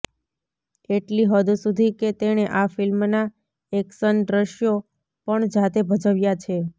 એટલી હદ સુધી કે તેણે આ ફિલ્મના એક્શન દ્રશ્યો પણ જાતે ભજવ્યા છે